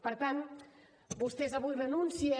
per tant vostès avui renuncien